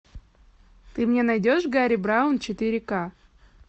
ты мне найдешь гарри браун четыре ка